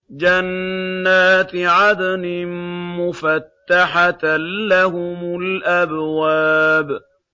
جَنَّاتِ عَدْنٍ مُّفَتَّحَةً لَّهُمُ الْأَبْوَابُ